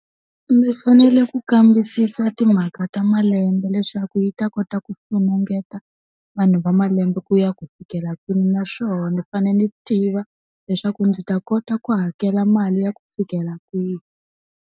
Ndzi fanele ku kambisisa timhaka ta malembe leswaku yi ta kota ku funengeta, vanhu va malembe ku ya ku fikela kwini naswona fanele ni tiva, leswaku ndzi ta kota ku hakela mali ya ku fikela kwihi.